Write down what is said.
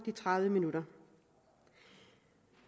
tredive minutter